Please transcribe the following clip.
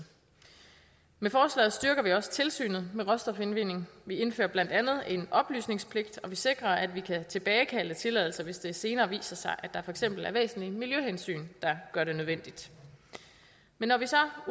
med forslaget styrker vi også tilsynet med råstofindvinding vi indfører blandt andet en oplysningspligt og vi sikrer at vi kan tilbagekalde tilladelser hvis det senere viser sig at der for eksempel er væsentlige miljøhensyn der gør det nødvendigt men når vi så